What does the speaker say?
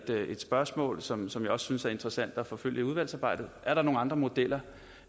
spørgsmål som som jeg synes er interessant at forfølge i udvalgsarbejdet er der nogen andre modeller